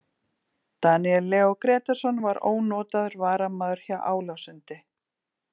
Daníel Leó Grétarsson var ónotaður varamaður hjá Álasundi.